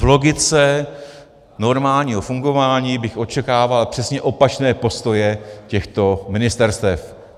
V logice normálního fungování bych očekával přesně opačné postoje těchto ministerstev.